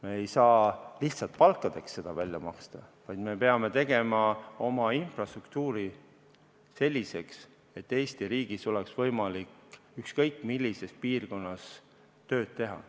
Me ei saa lihtsalt palkadeks seda raha välja maksta, vaid me peame tegema oma infrastruktuuri selliseks, et Eesti riigis oleks võimalik ükskõik millises piirkonnas tööd teha.